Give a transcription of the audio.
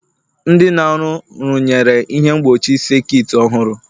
Ndị na-arụ rụnyere ihe mgbochi sekit ọhụrụ.